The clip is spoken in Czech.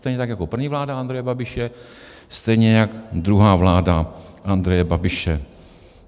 Stejně tak jako první vláda Andreje Babiše, stejně jak druhá vláda Andreje Babiše.